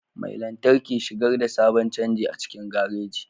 Mai lantarki, shigar da sabon canji a cikin gareji.